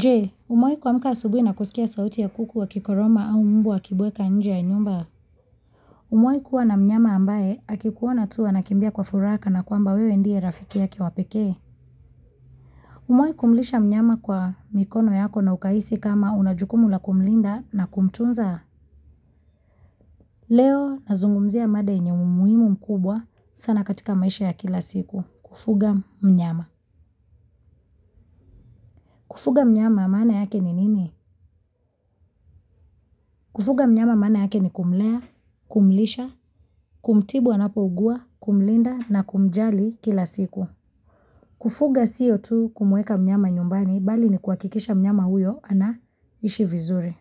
Je, umewahi kuamka asubuhi na kusikia sauti ya kuku wakikoroma au mbwa wakibweka nje ya nyumba? Umewahi kuwa na mnyama ambaye akikuona tu anakimbia kwa furaha kana kwamba wewe ndiye rafiki yake wa pekee? Umewahi kumlisha mnyama kwa mikono yako na ukahisi kama una jukumu la kumlinda na kumtunza? Leo nazungumzia mada yenye umuhimu mkubwa sana katika maisha ya kila siku. Kufuga mnyama. Kufuga mnyama maane yake ni nini? Kufuga mnyama maana yake ni kumlea, kumlisha, kumtibu anapougua, kumlinda na kumjali kila siku. Kufuga siyo tu kumweka mnyama nyumbani, bali ni kuhakikisha mnyama huyo anaishi vizuri.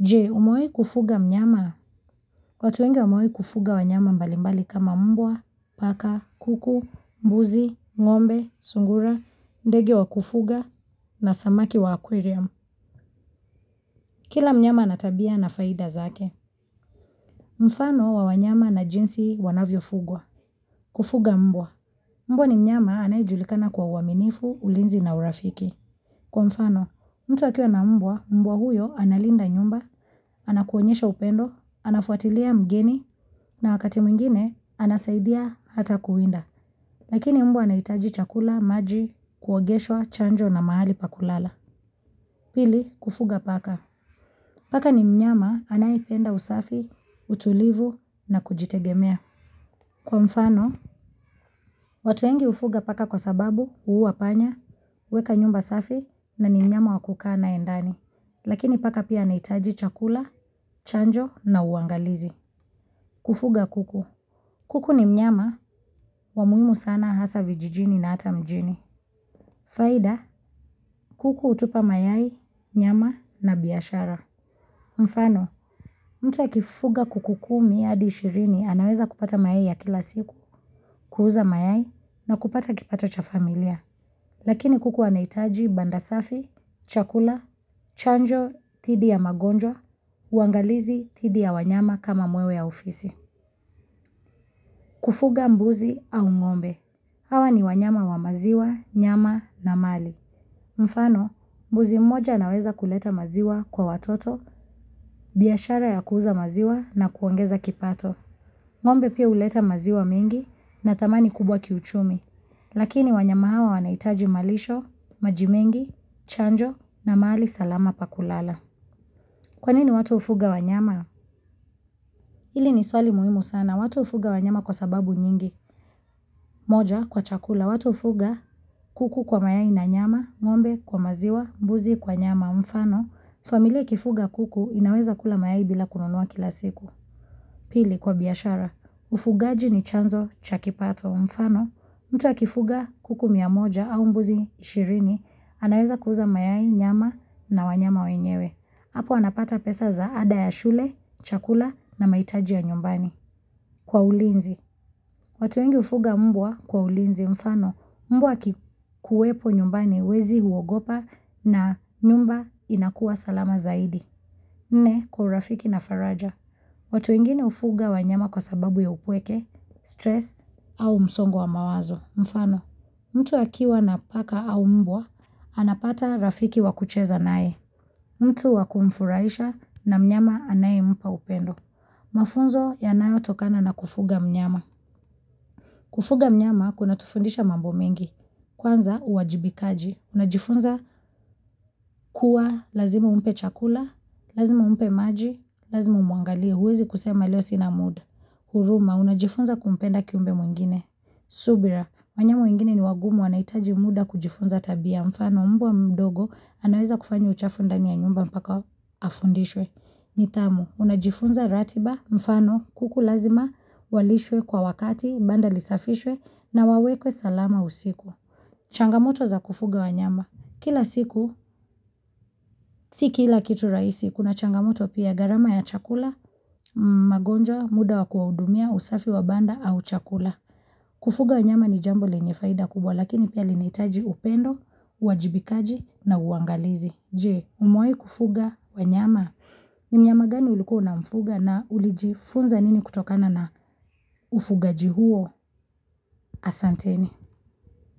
Je, umewahi kufuga mnyama? Watu wengi wamewahi kufuga wanyama mbalimbali kama mbwa, paka, kuku, mbuzi, ngombe, sungura, ndege wa kufuga na samaki wa aquarium. Kila mnyama ana tabia na faida zake. Mfano wa wanyama na jinsi wanavyofugwa. Kufuga mbwa. Mbwa ni mnyama anayejulikana kwa uaminifu, ulinzi na urafiki. Kwa mfano, mtu akiwa na mbwa, mbwa huyo analinda nyumba, anakuonyesha upendo, anafuatilia mgeni, na wakati mwingine anasaidia hata kuwinda. Lakini mbwa anahitaji chakula, maji, kuogeshwa, chanjo na mahali pa kulala. Pili, kufuga paka. Paka ni mnyama anayependa usafi, utulivu na kujitegemea. Kwa mfano, watu wengi hufuga paka kwa sababu huua panya, huweka nyumba safi na ni mnyama wa kukaa naye ndani. Lakini paka pia anahitaji chakula, chanjo na uangalizi. Kufuga kuku. Kuku ni mnyama wa muhimu sana hasa vijijini na hata mjini. Faida, kuku hutupa mayai, nyama na biashara. Mfano, mtu akifuga kuku kumi hadi ishirini anaweza kupata mayai ya kila siku. Kuuza mayai na kupata kipato cha familia, lakini kuku anahitaji banda safi, chakula, chanjo dhidi ya magonjwa, uangalizi dhidi ya wanyama kama mwewe au fisi. Kufuga mbuzi au ngombe. Hawa ni wanyama wa maziwa, nyama na mali. Mfano, mbuzi mmoja anaweza kuleta maziwa kwa watoto, biashara ya kuuza maziwa na kuongeza kipato. Ngombe pia huleta maziwa mengi na thamani kubwa kiuchumi. Lakini wanyama hawa wanahitaji malisho, maji mengi, chanjo na mahali salama pa kulala. Kwa nini watu hufuga wanyama? Hili ni swali muhimu sana, watu hufuga wanyama kwa sababu nyingi. Moja kwa chakula, watu hufuga kuku kwa mayai na nyama, ngombe kwa maziwa, mbuzi kwa nyama, mfano. Familia ikifuga kuku inaweza kula mayai bila kununua kila siku. Pili kwa biashara, ufugaji ni chanzo cha kipato, mfano. Mtu akifuga kuku mia moja au mbuzi ishirini, anaweza kuuza mayai, nyama na wanyama wenyewe. Hapo anapata pesa za ada ya shule, chakula na mahitaji ya nyumbani. Kwa ulinzi, watu wengi hufuga mbwa kwa ulinzi mfano, mbwa akikuwepo nyumbani wezi huogopa na nyumba inakuwa salama zaidi. Nne, kwa urafiki na faraja, watu wengine hufuga wanyama kwa sababu ya upweke, stress au msongo wa mawazo mfano. Mtu akiwa na paka au mbwa, anapata rafiki wa kucheza naye. Mtu wa kumfurahisha na mnyama anayempa upendo. Mafunzo yanayotokana na kufuga mnyama. Kufuga mnyama kunatufundisha mambo mengi. Kwanza uwajibikaji. Unajifunza kuwa lazima umpe chakula, lazima umpe maji, lazima umwangalie. Huwezi kusema leo sina muda. Huruma, unajifunza kumpenda kiumbe mwingine. Subira, wanyama wengine ni wagumu wanahitaji muda kujifunza tabia. Ya mfano, mbwa mdogo anaweza kufanya uchafu ndani ya nyumba mpaka afundishwe. Nidhamu, unajifunza ratiba, mfano, kuku lazima walishwe kwa wakati, banda lisafishwe, na wawekwe salama usiku. Changamoto za kufuga wanyama. Kila siku, si kila kitu rahisi, kuna changamoto pia gharama ya chakula, magonjwa, muda wa kuwahudumia, usafi wa banda, au chakula. Kufuga wanyama ni jambo lenye faida kubwa lakini pia linahitaji upendo, uwajibikaji na uangalizi. Je, umewahi kufuga wanyama? Ni mnyama gani ulikuwa unamfuga na ulijifunza nini kutokana na ufugaji huo? Asanteni.